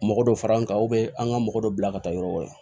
Mɔgɔ dɔ fara an kan an ka mɔgɔ dɔ bila ka taa yɔrɔ wɛrɛ